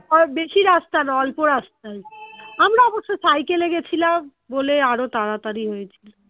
আর বেশি রাস্তা নয় অল্প রাস্তাই আমরা অবশ্য cycle এ গেছিলাম বলে আরো তাড়াতাড়ি হয়েছিল